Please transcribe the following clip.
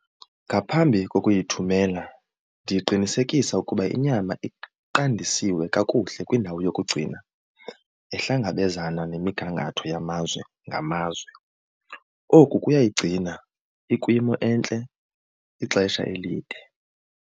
Ngaphambi kokuyithumela ndiqinisekisa ukuba inyama iqandisiwe kakuhle kwindawo yokugcina nehlangabezana nemigangatho yamazwe ngamazwe. Oku kuyayigcina ikwimo entle ixesha elide.